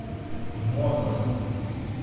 моторс